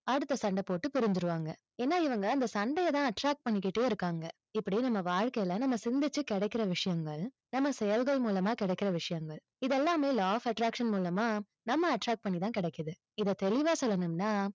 அடுத்த சண்டை போட்டு பிரிஞ்சிடுவாங்க. ஏன்னா இவங்க அந்த சண்டையதான் attract பண்ணிகிட்டே இருக்காங்க. இப்படி நம்ம வாழ்க்கையில நம்ம சிந்திச்சு கிடைக்கிற விஷயங்கள், நம்ம செயல்கள் மூலமா கிடைக்கிற விஷயங்கள். இது எல்லாமே law of attraction மூலமா, நம்ம attract பண்ணி தான் கிடைக்குது. இத தெளிவா சொல்லணும்னா,